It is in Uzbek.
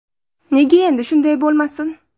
Nega endi shunday bo‘lmasin?